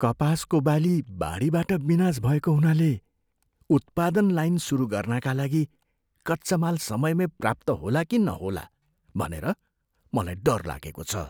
कपासको बाली बाढीबाट विनाश भएको हुनाले उत्पादन लाइन सुरु गर्नाका लागि कच्चा माल समयमै प्राप्त होला कि नहोला भनेर मलाई डर लागेको छ।